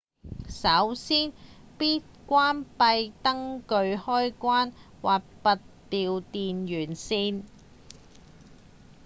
首先必須關閉燈具開關或拔掉電源線